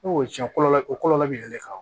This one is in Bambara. N'o ye cɛn kɔlɔ bɛ yɛlɛ ka